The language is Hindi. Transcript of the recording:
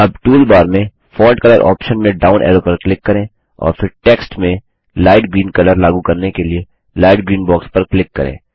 अब टूल बार में फोंट कलर ऑप्शन में डाउन ऐरो पर क्लिक करें और फिर टेक्स्ट में लाइट ग्रीन कलर लागू करने के लिए लाइट ग्रीन बॉक्स पर क्लिक करें